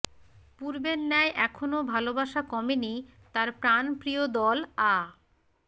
পূর্বের ন্যায় এখনো ভালোবাসা কমেনি তার প্রাণপ্রিয় দল আ